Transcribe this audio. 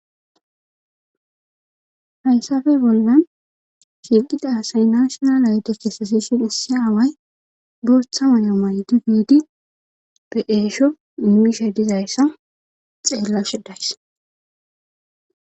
Hayssape bollan shinqida asay nashona aytos esasishin issi away botha wanya may difdi be eesho mmisha dizayssa xeellashedays.